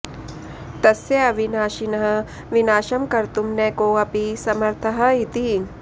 तस्य अविनाशिनः विनाशं कर्तुं न कोऽपि समर्थः इति